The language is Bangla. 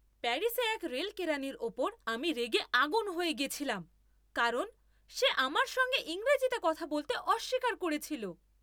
প্যারিসে এক রেল কেরানির উপর আমি রেগে আগুন হয়ে গেছিলাম কারণ সে আমার সঙ্গে ইংরেজিতে কথা বলতে অস্বীকার করেছিল।